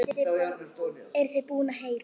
Eruð þið búin að heyja?